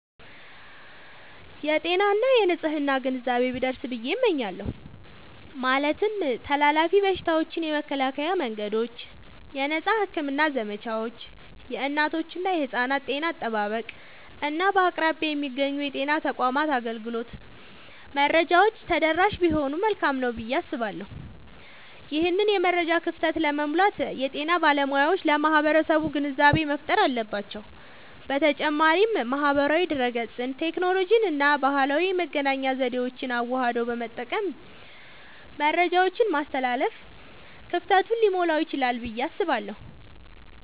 የጤና እና የንፅህና ግንዛቤ ቢደርስ ብየ እመኛለሁ። ማለትም ተላላፊ በሽታዎችን የመከላከያ መንገዶች፣ የነፃ ሕክምና ዘመቻዎች፣ የእናቶችና የሕፃናት ጤና አጠባበቅ፣ እና በአቅራቢያ የሚገኙ የጤና ተቋማት አገልግሎት መረጃዎች ተደራሽ ቢሆኑ መልካም ነዉ ብየ አስባለሁ። ይህንን የመረጃ ክፍተት ለመሙላት የጤና ባለሙያዎች ለማህበረሰቡ ግንዛቤ መፍጠር አለባቸዉ። በተጨማሪም ማህበራዊ ድህረገጽን፣ ቴክኖሎጂንና ባህላዊ የመገናኛ ዘዴዎችን አዋህዶ በመጠቀም መረጃን ማስተላለፍ ክፍተቱን ሊሞላዉ ይችላል ብየ አስባለሁ።